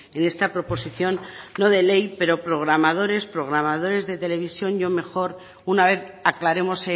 en esta proposición no de ley pero programadores programadores de televisión yo mejor una vez aclaremos